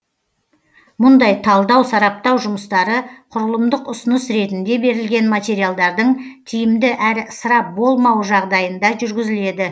мұндай талдау сараптау жұмыстары құрылымдық ұсыныс ретінде берілген материалдардың тиімді әрі ысырап болмауы жағдайында жүргізіледі